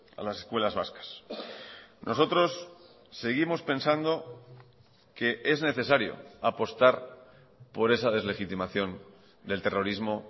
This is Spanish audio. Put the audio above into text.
a las escuelas vascas nosotros seguimos pensando que es necesario apostar por esa deslegitimación del terrorismo